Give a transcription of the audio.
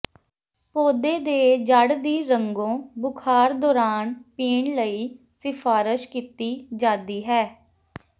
ਪੌਦੇ ਦੇ ਜੜ੍ਹ ਦੀ ਰੰਗੋ ਬੁਖ਼ਾਰ ਦੌਰਾਨ ਪੀਣ ਲਈ ਸਿਫਾਰਸ਼ ਕੀਤੀ ਜਾਦੀ ਹੈ